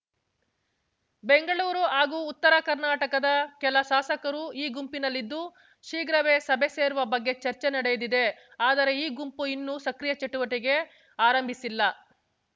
ಬೆಂಗಳೂರು ಹಾಗೂ ಉತ್ತರ ಕರ್ನಾಟಕದ ಕೆಲ ಶಾಸಕರು ಈ ಗುಂಪಿನಲ್ಲಿದ್ದು ಶೀಘ್ರವೇ ಸಭೆ ಸೇರುವ ಬಗ್ಗೆ ಚರ್ಚೆ ನಡೆದಿದೆ ಆದರೆ ಈ ಗುಂಪು ಇನ್ನೂ ಸಕ್ರಿಯ ಚಟುವಟಿಕೆ ಆರಂಭಿಸಿಲ್ಲ